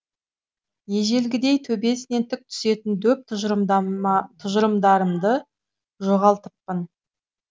ежелгідей төбесінен тік түсетін дөп тұжырымдарымды жоғалтыппын